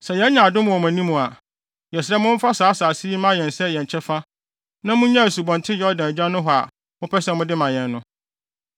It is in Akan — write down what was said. Sɛ yɛanya adom wɔ mo anim a, yɛsrɛ mo momfa saa asase yi mma yɛn sɛ yɛn kyɛfa na munnyae Asubɔnten Yordan agya nohɔ a mopɛ sɛ mode ma yɛn no.”